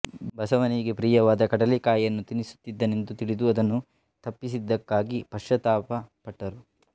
ಬಸವನಿಗೆ ಪ್ರಿಯವಾದ ಕಡಲೆಕಾಯಿಯನ್ನು ತಿನ್ನುತ್ತಿದ್ದನೆಂದು ತಿಳಿದು ಅದನ್ನು ತಪ್ಪಿಸಿದಕ್ಕಾಗಿ ಪಶ್ಚಾತ್ತಾಪ ಪಟ್ಟರು